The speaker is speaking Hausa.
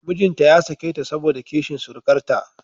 Mijinta ya sake ta saboda kishin surukarta